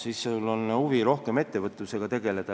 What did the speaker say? Siis on rohkem huvi ettevõtlusega tegeleda.